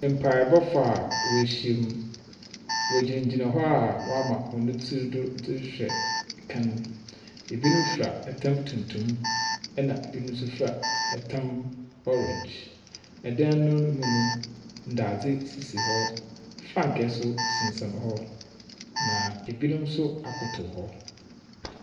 Mpaabɔfo a woehyiam. Wɔgyinagyina hɔ a wɔama hɔn tsir do dze rehwɛ kan. Binom fira tam tuntum, ɛna binom nso fita tam orange. Dan no mu no, ndadze. Frankaa nso sensɛn hɔ, na binom nso akoto hɔ.